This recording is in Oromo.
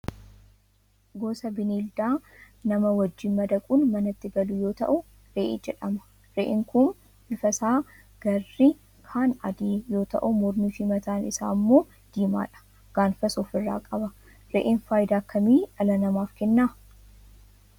Kun gosa bineeldaa nama wajjin madaquun manatti galu yoo ta'u, re'ee jedhama. Re'een kun bifti isaa garri kaan adii yoo ta'u mormiifi mataan isaa immoo diimaadha. Gaanfas ofirraa qaba. Re'een faayidaa akkamii dhala namaaf kenna?